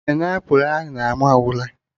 Painiapụlụ ahụ na-ama ụra